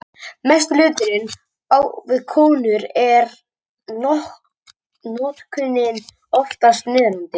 Mestur hlutinn á við konur og er notkunin oftast niðrandi.